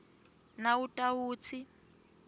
nawutawutsi